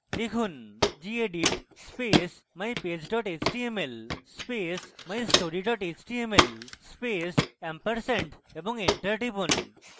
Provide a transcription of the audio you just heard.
লিখুন: gedit space mypage html space mystory html space & এবং enter টিপুন